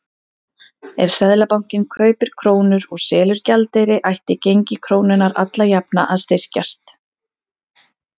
Ef Seðlabankinn kaupir krónur og selur gjaldeyri ætti gengi krónunnar alla jafna að styrkjast.